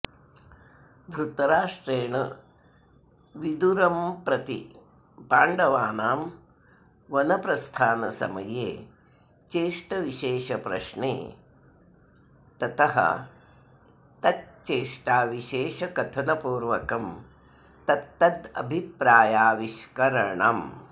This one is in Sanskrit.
धृतराष्ट्रेण विदुरम्प्रति पाण्डवानां वनप्रस्थानसमये चेष्टविशेषप्रश्ने तत ्तच्चेष्टाविशेषकथनपूर्वकं तत्तदभिप्रायाविष्करणम्